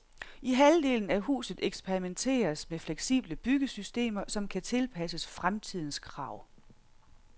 I halvdelen af huset eksperimenteres med fleksible byggesystemer, som kan tilpasses fremtidens krav.